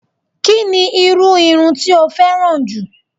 Kí ni irú irun tí o féràn jù?